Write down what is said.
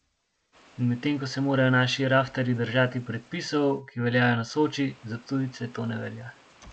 In medtem ko se morajo naši raftarji držati predpisov, ki veljajo na Soči, za tujce to ne velja.